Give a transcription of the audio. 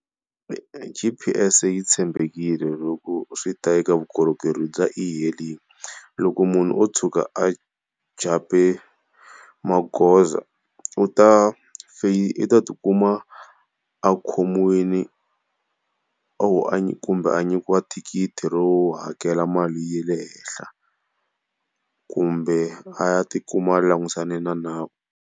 G_P_S yi tshembekile loko swi ta eka vukorhokeri bya e-hailing. Loko munhu o tshuka a jump-e magoza u ta u ta tikuma a khomiwile or a nyikiwa thikithi ro hakela mali ya le henhla, kumbe a ya tikuma a langusane na nawu.